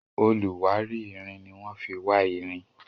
oluwari ìrìn ní wan fí wá ìrìn